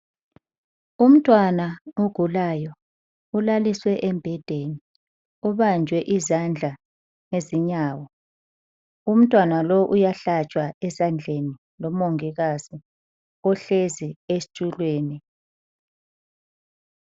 Umntwana ogulayo ulaliswe embhedeni, ubanjwe izandla lezinyawo. Umntwana lo uyahlatshwa ezandleni ngumongikazi uhlezi esitulweni.